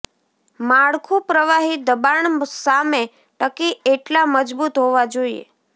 માળખું પ્રવાહી દબાણ સામે ટકી એટલા મજબૂત હોવા જોઈએ